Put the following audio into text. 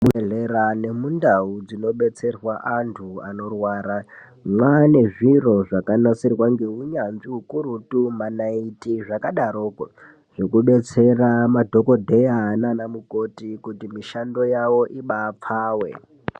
Ku zvibhedhlera neku ndau kuno betserwa antu anorwara vane zviro zvakanasirwa ne unyanzvi ukurutu manaiti zvaka daroko zveku betsera madhokoteya nana mukoti kuti mushando wawo ibapfave.